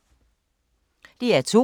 DR2